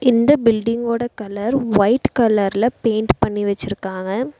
இந்த பில்டிங்கோட colour white கலர்ல பெயிண்ட் பண்ணி வச்சிருக்காங்க.